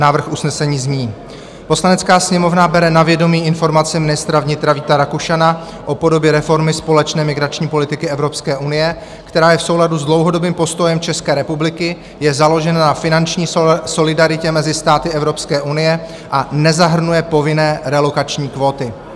Návrh usnesení zní: "Poslanecká sněmovna bere na vědomí informaci ministra vnitra Víta Rakušana o podobě reformy společné migrační politiky Evropské unie, která je v souladu s dlouhodobým postojem České republiky, je založena na finanční solidaritě mezi státy Evropské unie a nezahrnuje povinné relokační kvóty."